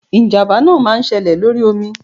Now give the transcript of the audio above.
ijamba náá máà ń séle lorí omí